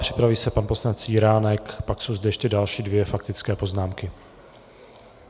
Připraví se pan poslanec Jiránek, pak jsou zde ještě další dvě faktické poznámky.